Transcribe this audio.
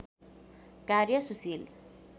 कार्य सुशील